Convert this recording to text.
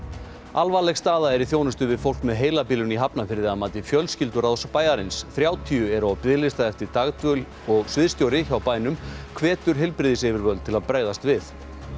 alvarleg staða er í þjónustu við fólk með heilabilun í Hafnarfirði að mati fjölskylduráðs bæjarins þrjátíu eru á biðlista eftir dagdvöl og sviðsstjóri hjá bænum hvetur heilbrigðisyfirvöld til að bregðast við